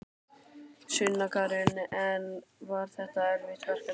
Sunna Karen: En var þetta erfitt verkefni?